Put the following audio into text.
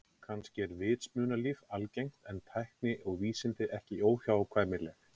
Kannski er vitsmunalíf algengt en tækni og vísindi ekki óhjákvæmileg.